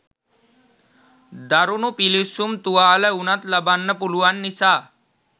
දරුණු පිළිස්සුම් තුවාල වුණත් ලබන්න පුළුවන් නිසා.